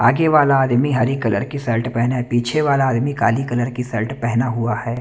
आगे वाला आदमी हरी कलर की शर्ट पहने है पीछे वाला आदमी काली कलर की शर्ट पहना हुआ है।